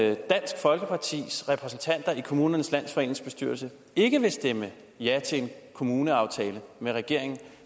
at dansk folkepartis repræsentanter i kommunernes landsforenings bestyrelse ikke vil stemme ja til en kommuneaftale med regeringen